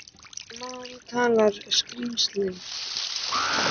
En hvaða mál talar skrílinn?